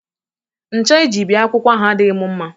Ṅcha e ji bie akwụkwọ ahụ adịghị m mma